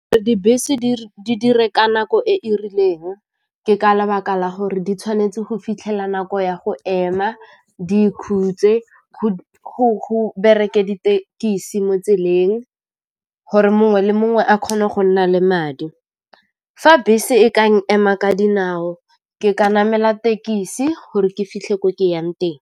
Dibese di dire ka nako e e rileng, ke ka lebaka la gore di tshwanetse go fitlhela nako ya go ema di ikhutse go bereke ditekisi mo tseleng gore mongwe le mongwe a kgone go nna le madi. Fa bese e ka nkema ka dinao ke ka namela tekisi gore ke fitlhe ko ke yang teng.